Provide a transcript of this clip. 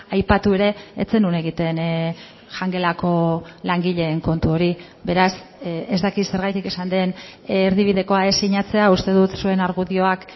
aipatu ere ez zenuen egiten jangelako langileen kontu hori beraz ez dakit zergatik esan den erdibidekoa ez sinatzea uste dut zuen argudioak